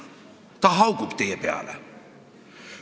Ta haugub teie peale.